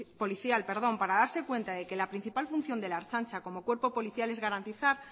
policial para darse cuenta de que la principal función de la ertzaintza como cuerpo policial es garantizar